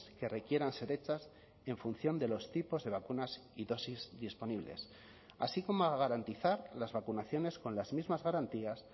que requieran ser hechas en función de los tipos de vacunas y dosis disponibles así como a garantizar las vacunaciones con las mismas garantías